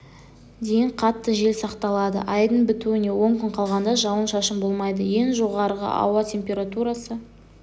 дейін қатты жел сақталады айдың бітуіне он күн қалғанда жауын-шашын болмайды ең жоғарғы ауа температурасы